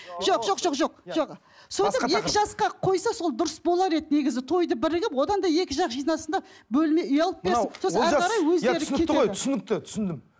жоқ жоқ жоқ жоқ жоқ сөйтіп екі жасқа қойса сол дұрыс болар еді негізі тойды бірігіп одан да екі жақ жинасын да бөлме үй алып берсін